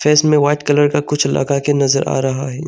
Face में white colour का कुछ लगा के नजर आ रहा हैं।